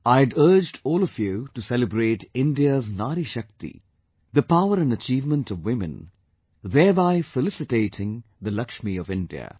I had urged all of you to celebrate India's NariShakti, the power and achievement of women, thereby felicitating the Lakshmi of India